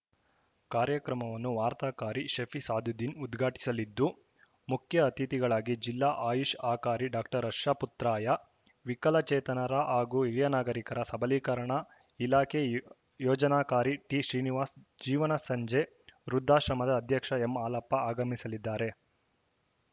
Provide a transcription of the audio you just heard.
ಕಾರ್ಯಕ್ರಮವನ್ನು ವಾರ್ತಾಕಾರಿ ಶಫಿ ಸಾದುದ್ದೀನ್‌ ಉದ್ಘಾಟಿಸಲಿದ್ದು ಮುಖ್ಯ ಅತಿಥಿಗಳಾಗಿ ಜಿಲ್ಲಾ ಆಯುಷ್‌ ಅಕಾರಿ ಡಾಕ್ಟರ್ ಹರ್ಷ ಪುತ್ರಾಯ ವಿಕಲಚೇತನರ ಹಾಗೂ ಹಿರಿಯ ನಾಗರೀಕರ ಸಬಲೀಕರಣ ಇಲಾಖೆ ಯೋ ಯೋಜನಾಕಾರಿ ಟಿ ಶ್ರೀನಿವಾಸ್‌ ಜೀವನ ಸಂಜೆ ವೃದ್ಧಾಶ್ರಮದ ಅಧ್ಯಕ್ಷ ಎಂಹಾಲಪ್ಪ ಆಗಮಿಸಲಿದ್ದಾರೆ